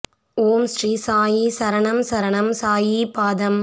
ஓம் ஸ்ரீ சாயி சரணம் சரணம் சாயி பாதம்